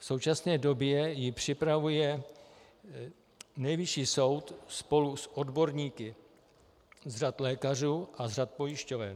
V současné době ji připravuje Nejvyšší soud spolu s odborníky z řad lékařů a z řad pojišťoven.